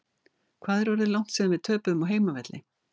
Hvað er orðið langt síðan við töpuðum á heimavelli?